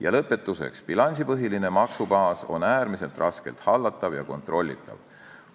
Ja lõpetuseks, bilansipõhiline maksubaas on äärmiselt raskelt hallatav ja kontrollitav.